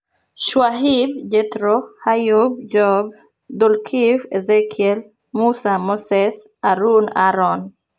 Shu'aib (Jethro), Ayyub (Job), Dhulkifl (Ezekiel), Musa (Moses), Harun (Aaron).